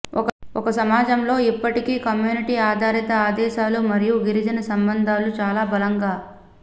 ఒక సమాజంలో ఇప్పటికీ కమ్యూనిటీ ఆధారిత ఆదేశాలు మరియు గిరిజన సంబంధాలు చాలా బలంగా